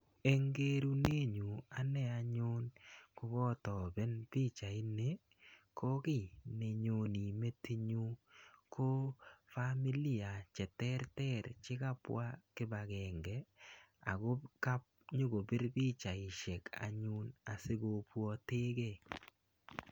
Eng kerunet nyu ane anyun kokatoben pichait ni ko kiy ne nyoni metinyun ko familia cheterter chikabwa kibakenge ako kanyokobir pichaishek anyun asikobwotekei.